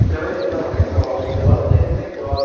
Então ele entrava na escola onze horas e saía três horas